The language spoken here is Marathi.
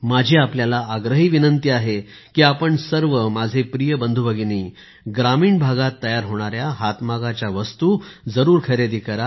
माझी आपल्याला आग्रही विनंती आहे की आपण सर्व माझे प्रिय बंधूभगिनी ग्रामीण भागात तयार होणाऱ्या हातमागाच्या वस्तू जरूर खरेदी करा